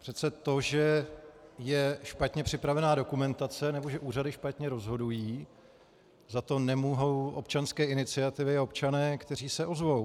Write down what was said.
Přece to, že je špatně připravená dokumentace nebo že úřady špatně rozhodují, za to nemohou občanské iniciativy a občané, kteří se ozvou.